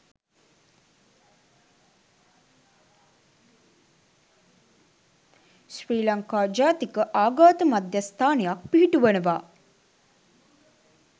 ශ්‍රී ලංකා ජාතික ආඝාත මධ්‍යස්ථානයක් පිහිටුවනවා